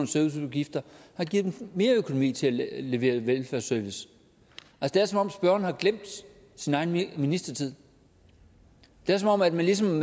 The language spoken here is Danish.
serviceudgifter har givet dem mere økonomi til at levere velfærdsservice det er som om spørgeren har glemt sin egen ministertid det er som om man ligesom